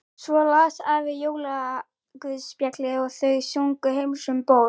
Svo las afi jólaguðspjallið og þau sungu Heims um ból.